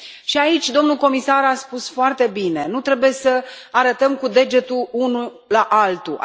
Și, aici, domnul comisar a spus foarte bine nu trebuie să arătăm cu degetul unul la altul.